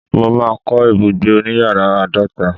mo ma ko ibugbe oniyaara aadota